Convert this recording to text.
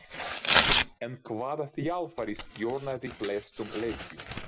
En hvaða þjálfari stjórnaði flestum leikjum?